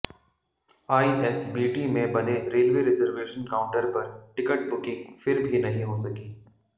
ISBT में बने railway reservation counter पर टिकट बुकिंग फिर भी नहीं हो सकी